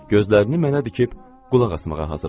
Gözlərini mənə dikib qulaq asmağa hazırlaşdı.